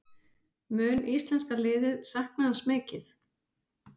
Mun íslenska liðið sakna hans mikið?